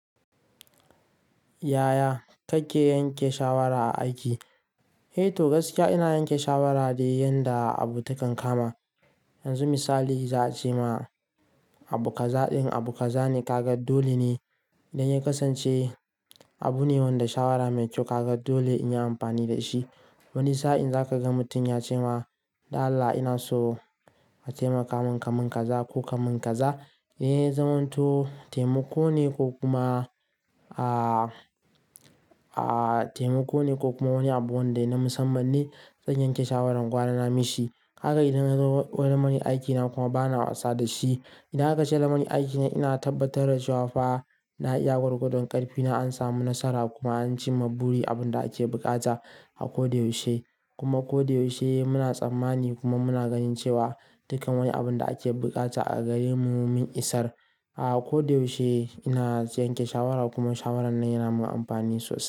Yaya kake yanke shawara a aiki? Eh to gaskiya ina yanke shawara ne yadda abu takan kama. Yanzu misali za a ce ma abu kaza din abu kaza ne kaga dole ne idan ya kasance abu ne wanda shawara mai kyau ka ga dole in yi amfani da shi. Wani sa'in za ka ga mutum ya ce ma "Dan Allah ina so a taimaka min kamun kaza ko kamun kaza", eh zan wanto taimako ne ko kuma aaah taimako ne ko kuma wani abu wanda yana musamman ne zan yanke shawaran gwara na mishi. Haka idan ya zo wurin manni aikina kuma bana wasa da shi. Idan haka ce lamunin aikina ina tabbatar da cewa fa na iya gwargwadon ƙarfina, an samu nasara kuma an ci ma buri abin da ake buƙata a ko da yaushe. Kuma ko da yaushe muna tsammani kuma muna ganin cewa dukkan wani abin da ake buƙata a gare mu mun isar. A'a ko da yaushe ina yanke shawara kuma shawarar nan yana mun amfani sosai.